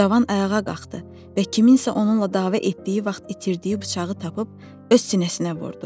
Cavan ayağa qalxdı və kiminsə onunla dava etdiyi vaxt itirdiyi bıçağı tapıb öz sinəsinə vurdu.